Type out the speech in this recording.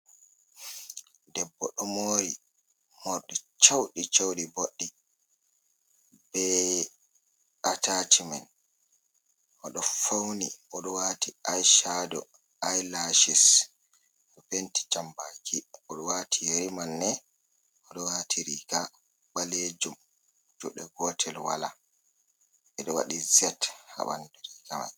Debbo ɗo mori morɗi chauɗi-chauɗi boɗɗi be a tachimen, o ɗo fauni o ɗo wati ai shado, ai lashis, ɗo penti jam baki, o ɗo wati yeri manne, o ɗo wati riga ɓalejum juɗe gotel wola, ɓeɗo waɗi z ha bandu riga mai.